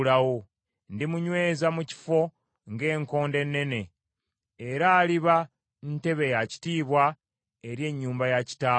Ndimunyweza mu kifo ng’enkondo ennene, era aliba ntebe ya kitiibwa eri ennyumba ya kitaawe.